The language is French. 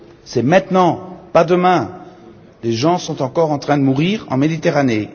C'est maintenant, pas demain, car des gens sont encore en train de mourir en Méditerranée.